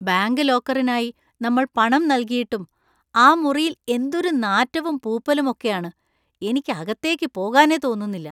Bank ലോക്കറിനായി നമ്മൾ പണം നൽകിയിട്ടും, ആ മുറിയിൽ എന്തൊരു നാറ്റവും പൂപ്പലും ഒക്കെയാണ് , എനിക്ക് അകത്തേക്ക് പോകാനേ തോന്നുന്നില്ല.